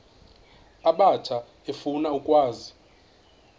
abatsha efuna ukwazi